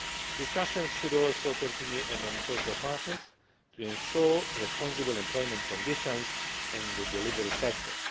Discussions should also continue among social partners to ensure responsible employment conditions in the delivery sector.